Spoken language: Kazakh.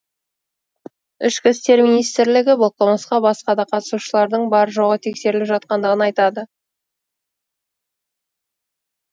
ішкі істер министрлігі бұл қылмысқа басқа да қатысушылардың бар жоғы тексеріліп жатқандығын айтады